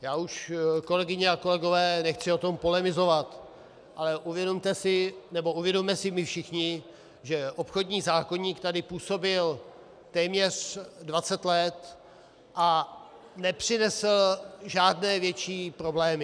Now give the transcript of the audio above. Já už, kolegyně a kolegové, nechci o tom polemizovat, ale uvědomte si, nebo uvědomme si my všichni, že obchodní zákoník tady působil téměř 20 let a nepřinesl žádné větší problémy.